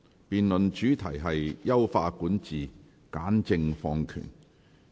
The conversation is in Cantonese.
辯論主題是"優化管治、簡政放權"。